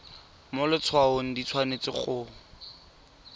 mo letshwaong di tshwanetse go